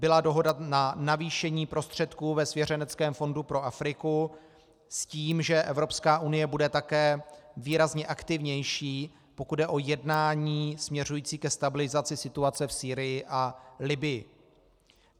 Byla dohoda na navýšení prostředků ve svěřeneckém fondu pro Afriku, s tím že Evropská unie bude také výrazně aktivnější, pokud jde o jednání směřující ke stabilizaci situace v Sýrii a Libyi.